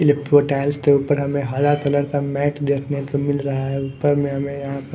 वो टाइल्स के ऊपर हमें हरा कलर का मैट देखने को मिल रहा है ऊपर में हमें यहां पर--